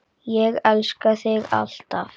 Ég elska þig. alltaf.